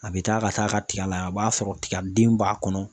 A bɛ taa ka taa ka tiga lajɛ a b'a sɔrɔ tigaden b'a kɔnɔ.